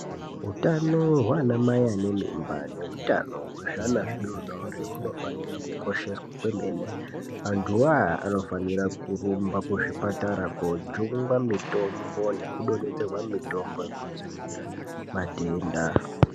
Utano hwe ana mai ane mimba ne utano we zvii ana zvidodori huno fana kukosheswa kwemene vantu vo aya anofana kurumba ku zvipatara ko jungwa mitombo neku donhedzerwa mitombo yeku dzivirira matenda.